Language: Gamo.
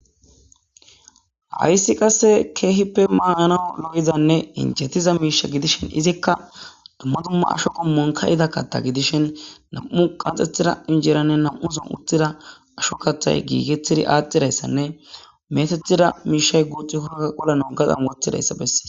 hayssi qasse keehippe maaanao lo7izanne injetiza miisha gidishin izikka dumma dumma asho qommon ka7ida katta gidishin nam7u qanxethira injeranne nam7u son utthida asho kathay giigetidi aaxxidayssanne metethida miishay guuxi hoa qollano gaxan wothidayssa bessee